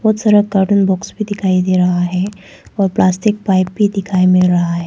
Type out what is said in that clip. बहु सारा carton box भी दिखाई दे रहा है और प्लास्टिक पाइप भी दिखाई मिल रहा है।